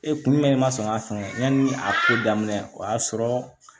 Ee kun jumɛn ma sɔn k'a sɔn yani a ko daminɛ o y'a sɔrɔ